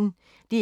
DR P1